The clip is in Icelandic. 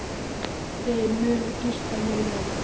Þeir munu gista hér í nótt.